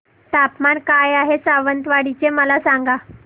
तापमान काय आहे सावंतवाडी चे मला सांगा